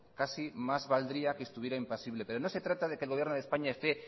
casi más valdría que estuviera impasible pero no se trata de que el gobierno de españa esté